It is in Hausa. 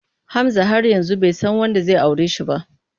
Hamza har yanzu bai san wanda zai aure shi ba.